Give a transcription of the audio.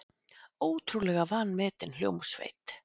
Ótrúlega vanmetin hljómsveit.